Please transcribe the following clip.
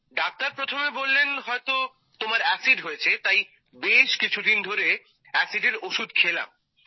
doctor প্রথমে বললেন হয়তো তোমার এসিড হয়েছে তাই বেশ কিছুদিন ধরে এসিডের ওষুধ খেলাম